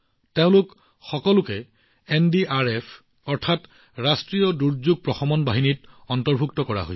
এই সকলোবোৰ এনডিআৰএফ দলৰ অংশ আছিল